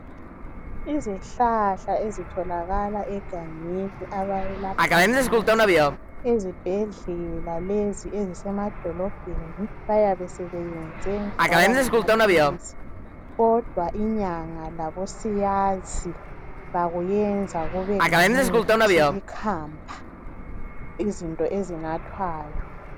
Izihlahla ezitholakala egangeni abayelapha ngazo. Ezibhedlela ezisemadolobheni yikuthi bayabe sebeyenze kwabangamaphilisi kodwa inyanga labosiyazi bayenza kube ngumuthi ikhamba ezinathwayo.